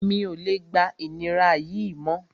Mi ò lè gba ìnira yìí mọ́